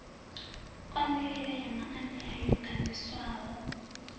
konḓelela ya maanea yo ganḓiswaho